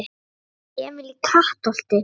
Emil í Kattholti